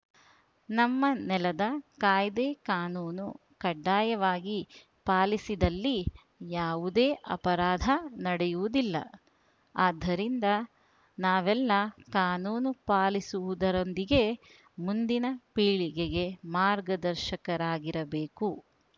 ನಮ್ಮ ನೆಲದ ಕಾಯ್ದೆಕಾನೂನು ಕಡ್ಡಾಯವಾಗಿ ಪಾಲಿಸಿದಲ್ಲಿ ಯಾವುದೇ ಅಪರಾಧ ನಡೆಯುವುದಿಲ್ಲ ಆದ್ದರಿಂದ ನಾವೆಲ್ಲಾ ಕಾನೂನು ಪಾಲಿಸುವುದರೊಂದಿಗೆ ಮುಂದಿನ ಪೀಳಿಗೆಗೆ ಮಾರ್ಗದರ್ಶಕರಾಗಿರಬೇಕು